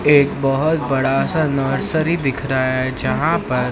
एक बहोत बड़ा सा नर्सरी दिख रहा है जहां पर--